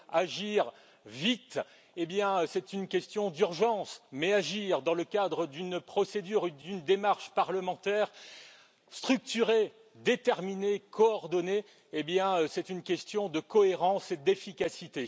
Agir vite et bien, c'est une question d'urgence, mais agir dans le cadre d'une procédure, d'une démarche parlementaire structuré, déterminée, coordonnée, c'est une question de cohérence et d'efficacité.